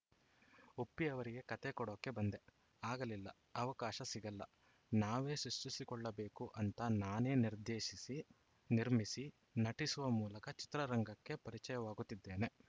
ಉಪ್ಪಿ ಅವರಿಗೆ ಕಥೆ ಕೊಡಕ್ಕೆ ಬಂದೆ ಆಗಲಿಲ್ಲಿ ಅವಕಾಶ ಸಿಗಲ್ಲ ನಾವೇ ಸೃಷ್ಟಿಸಿಕೊಳ್ಳಬೇಕು ಅಂತ ನಾನೇ ನಿರ್ದೇಶಿಸಿ ನಿರ್ಮಿಸಿ ನಟಿಸುವ ಮೂಲಕ ಚಿತ್ರರಂಗಕ್ಕೆ ಪರಿಚಯವಾಗುತ್ತಿದ್ದೇನೆ